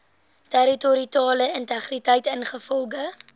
territoriale integriteit ingevolge